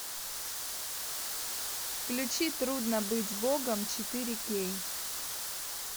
включи трудно быть богом четыре кей